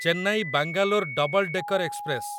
Chennai Bangalore double decker express